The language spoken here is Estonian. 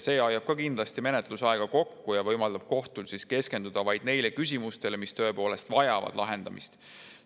See hoiab ka kindlasti menetlusaega kokku ja võimaldab kohtul keskenduda vaid neile küsimustele, mis tõepoolest vajavad lahendamist.